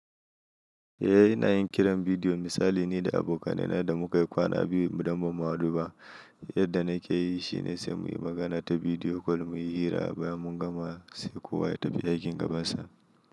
Eh ina yin kiran bidiyo. Misali ni da abokanai da muka yi kwana biyu ba mu maɗuba. Yadda na ke yi shi ne sai muyi magana ta bidiyo kol mu yi hira bayan mun gama sai kowa ya tafi aikin gabansa.